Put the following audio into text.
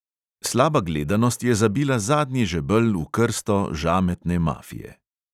Slaba gledanost je zabila zadnji žebelj v krsto žametne mafije.